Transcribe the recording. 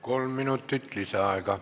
Kolm minutit lisaaega.